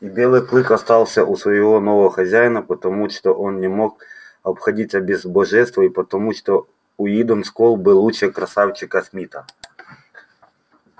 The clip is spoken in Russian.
и белый клык остался у своего нового хозяина потому что он не мог обходиться без божества и потому что уидон скоп был лучше красавчика смита